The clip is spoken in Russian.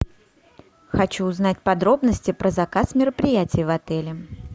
хочу узнать подробности про заказ мероприятий в отеле